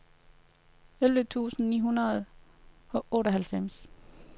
elleve tusind ni hundrede og otteoghalvfjerds